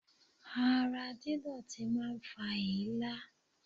Ara dídọ̀tí máa ń fa èélá.